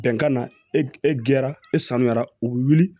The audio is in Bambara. Bɛnkan na e gɛrɛ e sanuyara u bɛ wuli